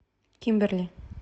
кимберли